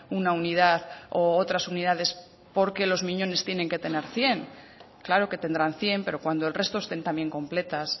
una unidad u otras unidades porque nos miñones tienen que tener cien claro que tendrán cien pero cuando el resto estén también completas